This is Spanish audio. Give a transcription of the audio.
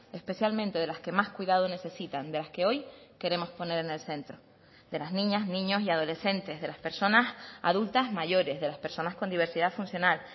especialmente de las que más cuidado necesitan de las que hoy queremos poner en el centro de las niñas niños y adolescentes de las personas adultas mayores de las personas con diversidad funcional